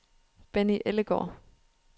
Benny Ellegaard